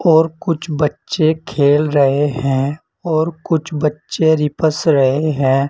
और कुछ बच्चे खेल रहे हैं और कुछ बच्चे रीपस रहे हैं।